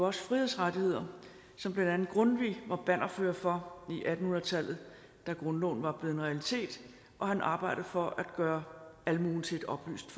også frihedsrettigheder som blandt andet grundtvig var bannerfører for i atten hundrede tallet da grundloven var blevet en realitet og han arbejdede for at gøre almuen til et oplyst